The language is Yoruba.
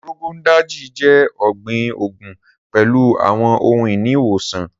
Rogon Daji jẹ ọgbin oogun pẹlu awọn ohun-ini iwosan.